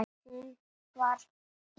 Hún var í